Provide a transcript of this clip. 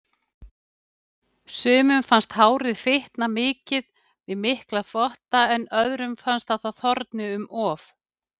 Sumum finnst að hárið fitni við mikla þvotta, en öðrum að það þorni um of.